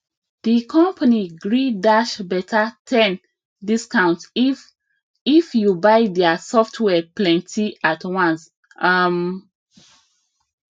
the company gree dash better ten discount if if you buy their software plenty at once um